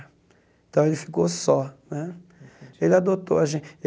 Então ele ficou só né.